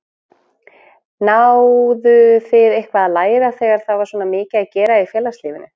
Náðu þið eitthvað að læra þegar það var svona mikið að gera í félagslífinu?